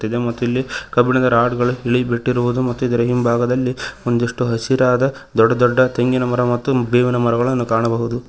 ಇದೆ ಮತ್ತು ಇಲ್ಲಿ ಕಬ್ಬಿಣದ ರಾಡ್ ಗಳು ಇಳಿ ಬಿಟ್ಟಿರುವುದು ಮತ್ತು ಇದರ ಹಿಂಭಾಗದಲ್ಲಿ ಒಂದಿಷ್ಟು ಹಸಿರಾದ ದೊಡ್ಡದೊಡ್ಡ ತೆಂಗಿನ ಮರ ಮತ್ತು ಬೇವಿನ ಮರಗಳನ್ನು ಕಾಣಬಹುದು.